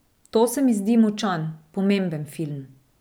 To se mi zdi močan, pomemben film.